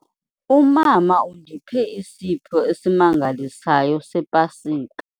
Umama undiphe isipho esimangalisayo sePasika.